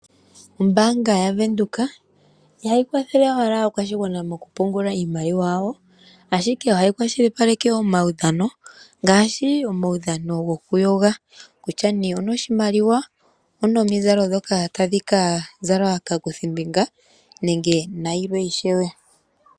Ombaanga yaVenduka ihayi kwathele owala aakwashigwana mokupungula iimaliwa yawo, ashike ohayi kwashilipaleke omaudhano ngaashi omaudhano gokuyoga, kutya nee onoshimaliwa, onomizalo ndhoka tadhi ka zalwa kaakuthimbinga nenge nayilwe ishewe.